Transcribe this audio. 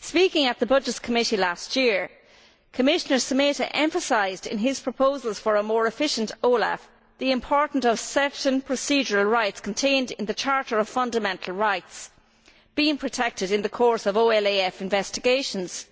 Speaking at the Committee on Budgets last year, Commissioner Šemeta emphasised, in his proposals for a more efficient OLAF, the importance of certain procedural rights contained in the Charter of Fundamental Rights being protected in the course of OLAF investigations.